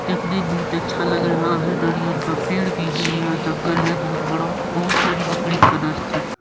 देखने में बहुत अच्छा लग रहा है दरियल का पेड़ भी हैं यहाँ जंगल है बहुत बड़ा बहुत सारी बकरी खाना खा रही--